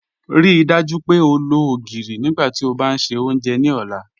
Ríí dájú pé ó lọ ogirí nígbàtí ó bá n ṣẹ ọ́njẹ̀ ni ọ̀lá.